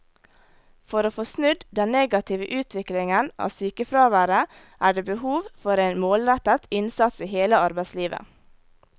For å få snudd den negative utviklingen av sykefraværet er det behov for en målrettet innsats i hele arbeidslivet.